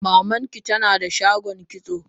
Maman ki ta na da shagon kitso?